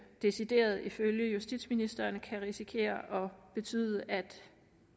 decideret ifølge justitsministeren kan risikere at betyde at